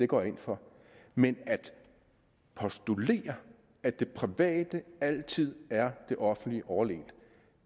går jeg ind for men at postulere at det private altid er det offentlige overlegent